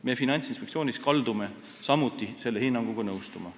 Meie Finantsinspektsioonis kaldume samuti selle hinnanguga nõustuma.